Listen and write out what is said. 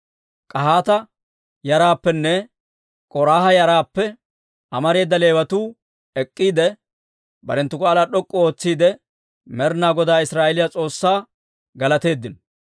K'ahaata yaraappenne K'oraaha yaraappe amareeda Leewatuu ek'k'iide, barenttu k'aalaa d'ok'k'u ootsiide, Med'inaa Godaa Israa'eeliyaa S'oossaa galateeddino.